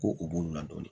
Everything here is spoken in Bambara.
Ko u b'olu ladɔnni